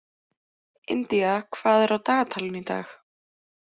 India, hvað er á dagatalinu í dag?